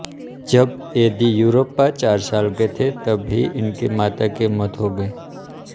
जब येदियुरप्पा चार साल के थे तब ही इनकी माता की मौत हो गई